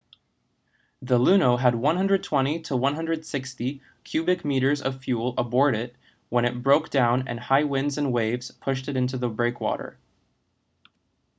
the luno had 120-160 cubic metres of fuel aboard when it broke down and high winds and waves pushed it into the breakwater